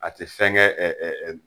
A tɛ fɛn kɛ